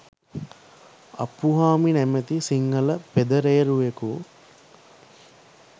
අප්පුහාමි නමැති සිංහල පෙදරේරුවෙකු